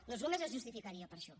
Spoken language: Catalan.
doncs només es justificaria per això